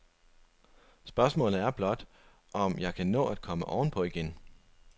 Spørgsmålet er blot, om jeg kan nå at komme ovenpå igen.